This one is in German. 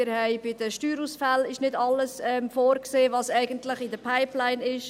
Bei den Steuerausfällen ist nicht alles vorgesehen, was eigentlich in der Pipeline ist.